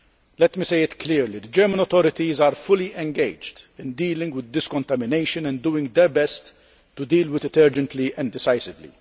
Let me say it clearly the German authorities are fully engaged in dealing with this contamination and are doing their best to deal with it urgently and decisively.